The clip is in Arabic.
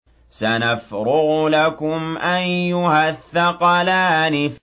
سَنَفْرُغُ لَكُمْ أَيُّهَ الثَّقَلَانِ